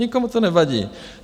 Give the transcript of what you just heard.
Nikomu to nevadí.